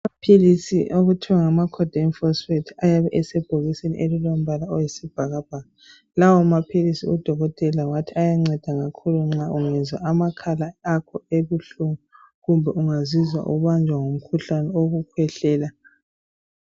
Amaphilisi okuthiwa ngama "codotab" ayabe esebhokisini elilombala oyisibhakabhaka. Lawo maphilisi udokotela wathi ayanceda kakhulu nxa ungezwa amakhala akho ebuhlungu kumbe ungazizwa ubanjwa ngumkhuhlane wokukhwehlela.